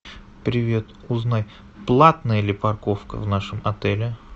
привет узнай платная ли парковка в нашем отеле